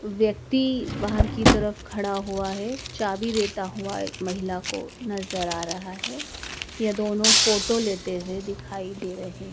व्यक्ति बाहर की तरफ खड़ा हुआ है चाबी देता हुआ एक महिला को नजर आ रहा है यह दोनों फोटो लेते हुए दिखाई दे रहे--